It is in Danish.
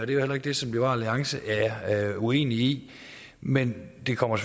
det er heller ikke det som liberal alliance er uenige i men det kommer